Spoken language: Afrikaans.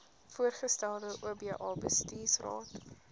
voorgestelde oba bestuursraad